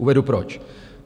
Uvedu proč.